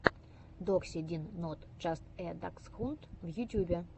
докси дин нот джаст э даксхунд в ютьюбе